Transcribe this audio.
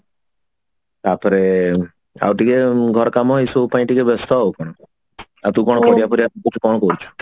ତାପରେ ଆଉ ଟିକେ ଘର କାମ ଏସବୁ ପାଇଁ ଟିକେ ବ୍ୟସ୍ତ ଆଉ କଣ ଆଉ ତୁ କଣ ପରିବା ଫରିବା କାଟୁଛୁ କଣ କରୁଛୁ